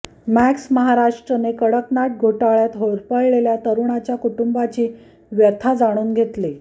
मॅक्समहाराष्ट्रने कडकनाथ घोटाळ्यात होरपळलेलल्या तरुणाच्या कुटुंबाची व्यथा जाणून घेतली